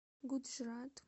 гуджрат